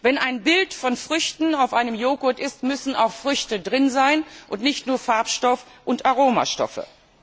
Wenn ein Bild von Früchten auf einem Joghurt ist, müssen auch Früchte drin sein, und nicht nur Farbstoff und Aromastoffe.